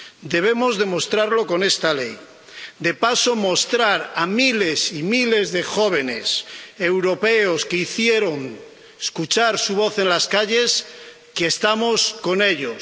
Debemos demostrarlo con esta Ley, y de paso mostrar a miles y miles de jóvenes europeos que hicieron escuchar su voz en las calles que estamos con ellos.